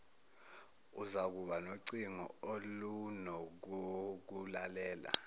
uzakuba nocingo olunokokulalela